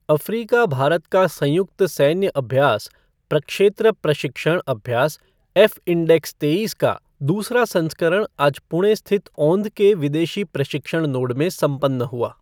Africa Bharat का संयुक्त सैन्य अभ्यास प्रक्षेत्र प्रशिक्षण अभ्यास ऐफ़इंडेक्स तेईस का दूसरा संस्करण आज पुणे स्थित औंध के विदेशी प्रशिक्षण नोड में संपन्न हुआ।